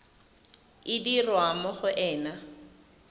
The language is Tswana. e dirwa mo go ena